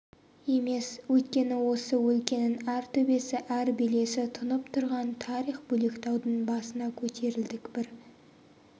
емес өйткені осы өлкенің әр төбесі әр белесі тұнып тұрған тарих бөлектаудың басына көтерілдік бір